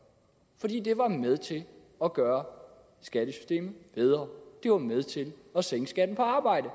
fordi det var med til at gøre skattesystemet bedre det var med til at sænke skatten på arbejde